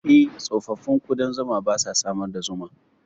Eh, tsofaffin ƙudan zuma ba sa samar da zuma.